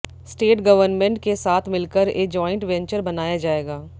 state government के साथ मिलकर ए ज्वाइंट वेंचर बनाया जाएगा